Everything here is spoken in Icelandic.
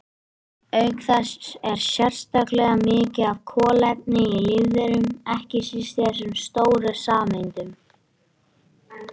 Auk þess er sérstaklega mikið af kolefni í lífverum, ekki síst í þessum stóru sameindum.